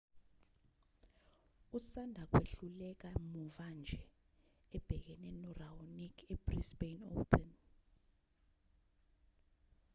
usanda kwehluleka muva nje ebhekene no-raonic ebrisbane open